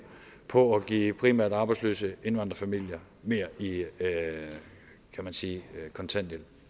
på at give primært arbejdsløse indvandrerfamilier mere kan man sige i kontanthjælp